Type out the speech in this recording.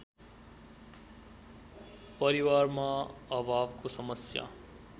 परिवारमा अभावको समस्या